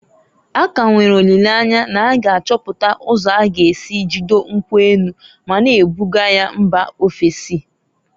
A ka nwere olileanya na a ga achọpụta ụzọ a g'esi jidoo nkwu enu, ma na ebuga ya mba ofesi.